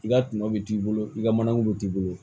I ka tɔnɔ bɛ t'i bolo i ka manako bɛ t'i bolo